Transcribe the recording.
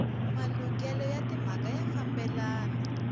malukelo ya timhaka ya fambelana